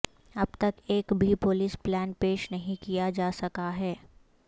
اب تک ایک بھی پولیس پلان پیش نہیں کیا جا سکا ہے